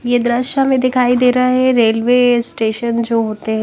यह दृश्य हमें दिखाई दे रहा है रेलवे स्टेशन जो होते हैं।